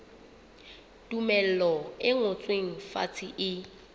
tumello e ngotsweng fatshe e